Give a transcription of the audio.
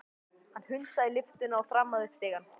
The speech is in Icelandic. Hann hundsaði lyftuna og þrammaði upp stigana.